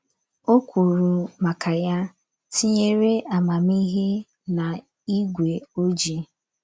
O kwuru maka ya, “ tinyere amamihe n’ígwé ojii. ”